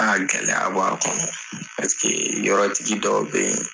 Aa gɛlɛya b'a kɔnɔ paseke yɔrɔtigi dɔw bɛ yen.